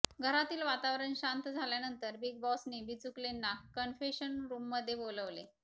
घरातील वातावरण शांत झाल्यानंतर बिग बॉसनी बिचुकलेंना कन्फेशन रुममध्ये बोलवले